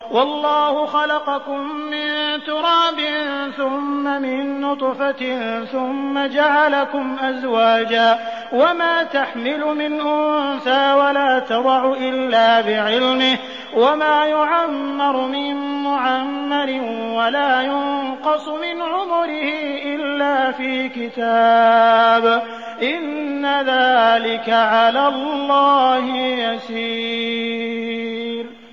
وَاللَّهُ خَلَقَكُم مِّن تُرَابٍ ثُمَّ مِن نُّطْفَةٍ ثُمَّ جَعَلَكُمْ أَزْوَاجًا ۚ وَمَا تَحْمِلُ مِنْ أُنثَىٰ وَلَا تَضَعُ إِلَّا بِعِلْمِهِ ۚ وَمَا يُعَمَّرُ مِن مُّعَمَّرٍ وَلَا يُنقَصُ مِنْ عُمُرِهِ إِلَّا فِي كِتَابٍ ۚ إِنَّ ذَٰلِكَ عَلَى اللَّهِ يَسِيرٌ